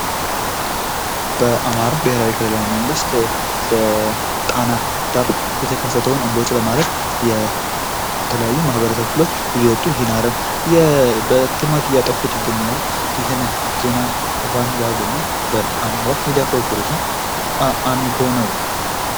በአማራ ብሔራዊ ክልላዊ መንግስት በጣና ዳር የተከሰተዉን እንቦጭ ለማጥፋት የተለያዩ የማህበረሰብ ክፍሎች እየወጡ ይህን አረም በህብረት እያጠፉት ይገኛሉ። ይህንን ዜና ሽፋን ያገኙ አማራ ሚዲያ ኮርፖሬሽን አሚኮ ነዉ።